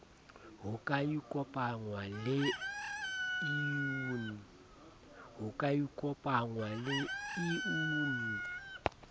ho ka ikopangwa le iucn